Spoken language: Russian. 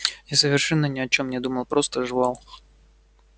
я совершенно ни о чем не думал просто жевал